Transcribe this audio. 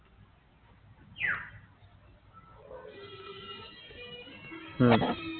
উম